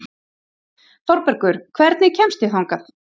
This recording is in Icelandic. Þorbergur, hvernig kemst ég þangað?